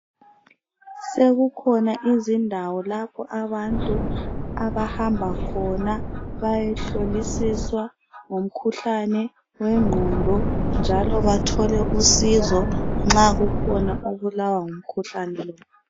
Sekukhona izindawo lapho abantu abahamba khona bayehlolisiswa ngomkhuhlane wengqondo . Njalo bathole usizo nxa kukhona obulawa ngumkhuhlane lo .